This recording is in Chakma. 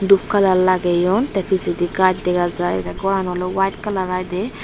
dup colour lageone tay pijadi gus degajai tay goran olay white colour ey day.